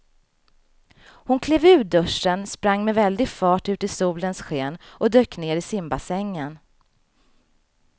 Hon klev ur duschen, sprang med väldig fart ut i solens sken och dök ner i simbassängen.